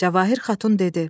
Cəvahir xatun dedi: